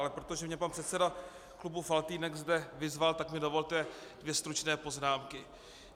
Ale protože mě pan předseda klubu Faltýnek zde vyzval, tak mi dovolte dvě stručné poznámky.